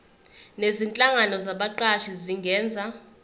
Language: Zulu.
nezinhlangano zabaqashi zingenza